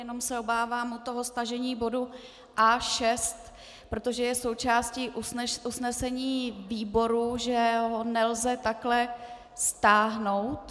Jenom se obávám toho stažení bodu A6, protože je součástí usnesení výboru, že ho nelze takhle stáhnout.